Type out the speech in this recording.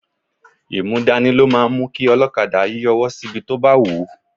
Imúdání ló máa ń mú kí olokada yí ọwọ́ sí ibi tí ó bá wù ú.